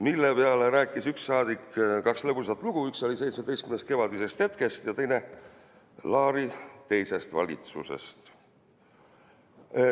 Selle peale rääkis üks saadik kaks lõbusat lugu, üks oli "Seitsmeteistkümnest kevadisest hetkest" ja teine Laari teisest valitsusest.